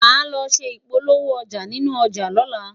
má ló ṣé ipolowo ọja nínú ọja lola